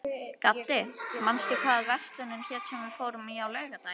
Gaddi, manstu hvað verslunin hét sem við fórum í á laugardaginn?